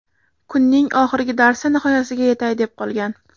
Kunning oxirgi darsi nihoyasiga yetay deb qolgan.